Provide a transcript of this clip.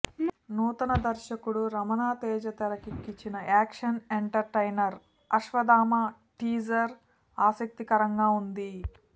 నూతన దర్శకుడు రమణ తేజ తెరకెక్కించిన యాక్షన్ ఎంటర్టైనర్ అశ్వథామ టీజర్ ఆసక్తికరంగా ఉంది